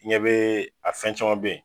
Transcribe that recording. I ɲɛ bɛɛ a fɛn caman bɛ yen.